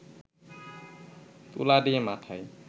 তুলা দিয়ে মাথায়